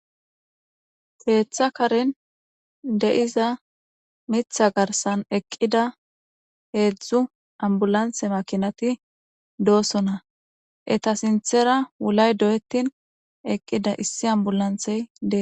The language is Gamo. Keeththa karen de'iza mitha garsan eqqida heedzdzu ambulanthe makinati doosona etta sinththera wulay doyettin eqqida issi ambulanththey dees